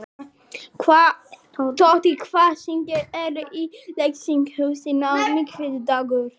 Tóti, hvaða sýningar eru í leikhúsinu á miðvikudaginn?